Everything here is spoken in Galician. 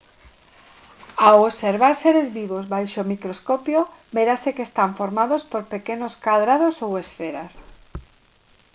ao observar seres vivos baixo o microscopio verase que están formados por pequenos cadrados ou esferas